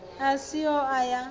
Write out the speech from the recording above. a si ho o ya